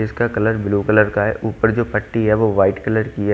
इसका colour blue colour का है ऊपर जो पट्टी है वो वाइट कलर की है।